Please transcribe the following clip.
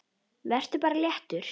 Vertu bara léttur!